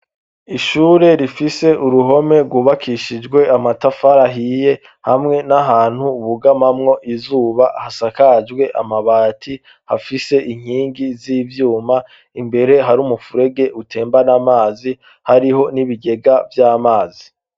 Ishure rifise uruhome rwubakishijwe amatafara ahiye hamwe n'ahantu bugamamwo izuba hasakajwe amabati hafise inkingi z'ivyuma imbere hari umupfurege utembane amazi hariho n'ibigega vy'amazi.